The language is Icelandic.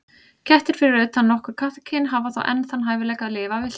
Kettir, fyrir utan nokkur kattakyn, hafa þó enn þann hæfileika að lifa villtir.